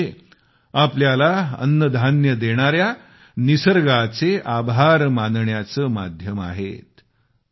हे सण म्हणजे आपल्याला अन्नधान्य देणाऱ्या निसर्गाचे आभार मानण्याचे माध्यम आहेत